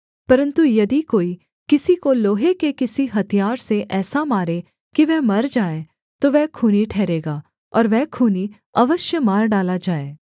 परन्तु यदि कोई किसी को लोहे के किसी हथियार से ऐसा मारे कि वह मर जाए तो वह खूनी ठहरेगा और वह खूनी अवश्य मार डाला जाए